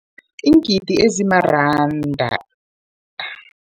Iingidi ezimaranda